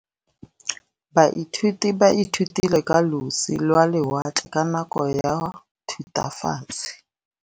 Baithuti ba ithutile ka losi lwa lewatle ka nako ya Thutafatshe.